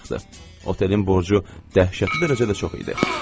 Otelinin borcu dəhşətli dərəcədə çox idi.